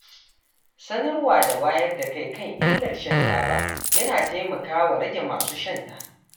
Sanarwa da wayar da kai kan illar shan taba yana taimakawa rage masu shanta.